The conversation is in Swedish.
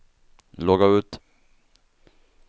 logga ut